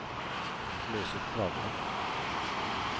løs ut plata